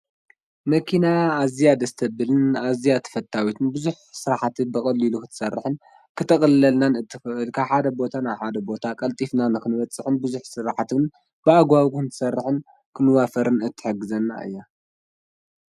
መኪና ኣዝያ ደስ ተብልን ኣዝያ ተፈታዊትን ብዙሕ ስራሕቲ ብቀሊሉ ክትሰርሕን ክተቅልለልና እትክእል ካብ ሓደ ቦታ ናብ ሓደ ቦታ ቀልጥፊና ክንበፅሕን ብዙሕ ስራሕቲ ብኣግባቡ ክንሰርሕ ክንዋፈርን እትሕግዘና እያ።